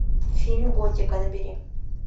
фильм готика набери